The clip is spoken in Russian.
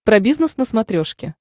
про бизнес на смотрешке